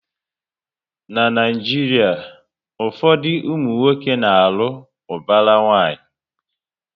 Na Naijiria, ụfọdụ ụmụnwoke na alụ ubara nwanyi